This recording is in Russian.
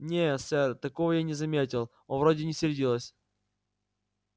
не сэр такого я не заметил он вроде не сердилась